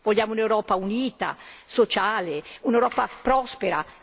Vogliamo un'Europa unita, sociale, un'Europa prospera.